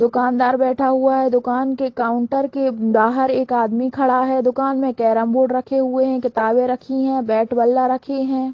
दुकानदार बैठा हुआ है दुकान के काउंटर के बाहर एक आदमी खड़ा है दुकान में कैरम बोर्ड रखे हुए है किताबे रखे है बैट बल्ला रखे हैं ।